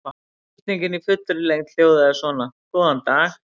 Spurningin í fullri lengd hljóðaði svona: Góðan dag.